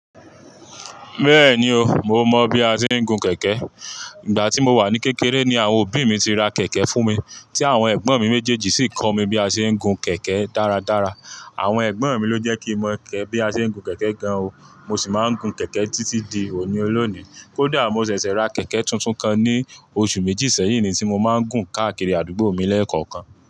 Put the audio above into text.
Bẹ́ẹ̀ni o, mo mọ bi a ṣe ń gun kẹ̀kẹ́. Ìgbà tí mo wà ní kékeré ni àwọn òbí mi ti ra kẹ̀kẹ́ fún mi, tí àwọn ẹ̀gbọ́n mi méjèèjì sì kọ́ mi bí a ṣe ń gun kẹ̀kẹ́ dáradára. Àwọn ẹ̀gbọ́n mi ló jẹ́ kí mo mọ̀ bí a ṣe ń gun kẹ̀kẹ́ gan o, mo sì máa ń gun kẹ̀kẹ́ títí di òní olónìí. Kódà mo ṣẹ̀ṣẹ̀ ra kẹ̀kẹ́ tuntun kan ní oṣù méjì sẹ́yìn ni tí mo máa ń gùn káàkiri àdúgbò mi lẹ́ẹ̀kọ̀kan.